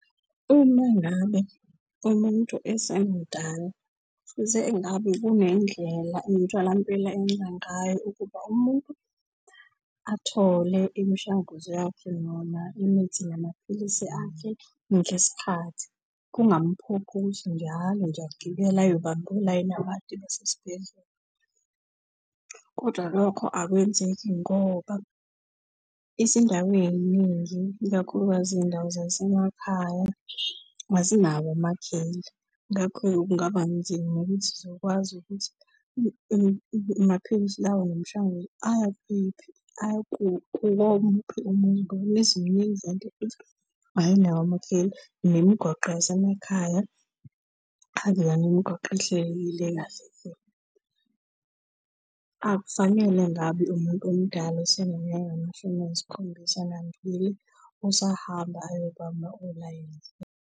Uma ngabe umuntu esamdala fuze engabe kunendlela emitholampilo eyenza ngayo ukuba umuntu athole imishanguzo yakhe noma imithi namaphilisi akhe ngesikhathi, kungamphoqi ukuthi njalo nje agibele ayobamba olayini abade basesibhedlela. Kodwa lokho akwenzeki ngoba izindawo ey'ningi ikakhulukazi iy'ndawo zasemakhaya azinawo amakheli. Ngakho-ke kungaba nzima ukuthi zikwazi ukuthi amaphilisi lawa nemishanguzo aya kephi, aya kuwomuphi umuntu. Nemizi miningi, kanti futhi ayinawo amakheli. Nemigwaqo yasemakhaya akuyona imigwaqo ehlelekile kahle hle. Akufanele ngabe umuntu omdala oseneminyaka engamashumi ayisikhombisa nambili usahamba ayobamba olayini.